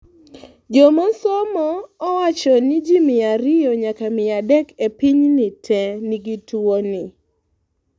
jomosomo owachoni ji mia ariyo nyaka mia adek e piny te nigi tuwoni